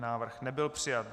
Návrh nebyl přijat.